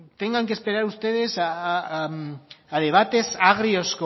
tengan que esperar ustedes a debates agrios